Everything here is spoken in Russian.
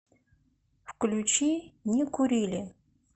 включи не курили